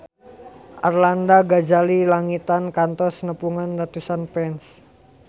Arlanda Ghazali Langitan kantos nepungan ratusan fans